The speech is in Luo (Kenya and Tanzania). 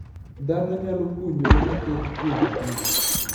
Dhano nyalo puonjore mathoth kuomkich